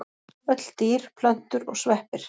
Öll dýr, plöntur og sveppir.